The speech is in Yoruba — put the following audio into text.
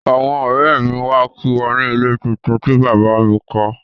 Àwọn ọ̀rẹ́ mi wá kí wa ni ilé tuntun tí bàbá a mi kọ́